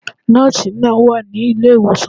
Nóòsi náà wà ní ilé ìwòsàn